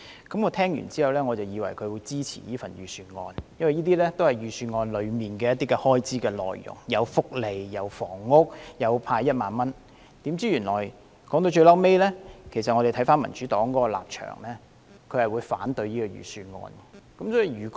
聽畢他的發言，我以為他會支持這份財政預算案，因為這些都是預算案中有關開支的內容，包括福利、房屋和派發1萬元的措施，豈料說到最後，民主黨的立場是反對這份預算案。